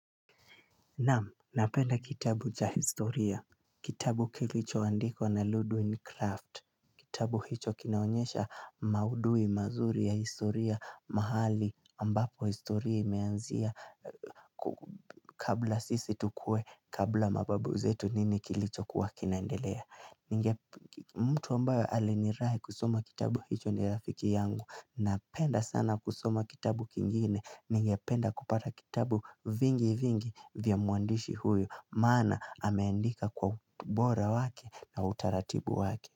Naam, napenda kitabu cha historia. Kitabu kilichoandikwa na Ludwig Craft. Kitabu hicho kinaonyesha maudhui mazuri ya historia mahali ambapo historia imeanzia kabla sisi tukuwe kabla mababu zetu nini kilichokuwa kinaendelea. Mtu ambaye alinirai kusoma kitabu hicho ni rafiki yangu. Napenda sana kusoma kitabu kingine. Nigependa kupata kitabu vingi vingi vya mwandishi huyo. Maana ameandika kwa bora wake na utaratibu wake.